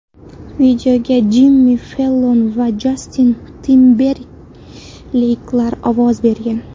Videoga Jimmi Fellon va Jastin Timberleyklar ovoz bergan.